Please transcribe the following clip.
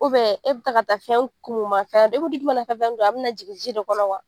e bi taa ka taa fɛn kumu ma fɛn e bɛ duguk na fɛn kun a be na jigin ji de kɔnɔ wa